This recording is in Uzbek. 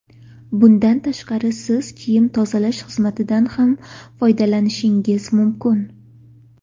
Bundan tashqari siz kiyim tozalash xizmatidan ham foydalanishingiz mumkin.